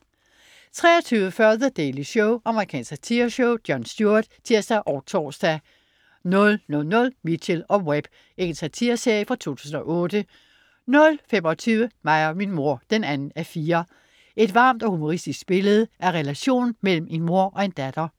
23.40 The Daily Show. Amerikansk satireshow. Jon Stewart (tirs og tors) 00.00 Mitchell & Webb. Engelsk satireserie fra 2008 00.25 Mig og min mor 2:4. Et varmt og humoristisk billede af relationen mellem en mor og en datter